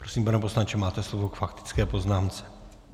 Prosím, pane poslanče, máte slovo k faktické poznámce.